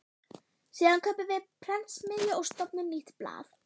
Síðan kaupum við prentsmiðju og stofnum nýtt blað.